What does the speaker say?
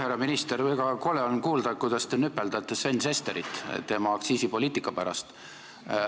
Härra minister, väga kole on kuulda, kuidas te nüpeldate Sven Sesterit tema aktsiisipoliitika pärast.